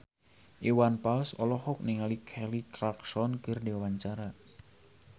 Iwan Fals olohok ningali Kelly Clarkson keur diwawancara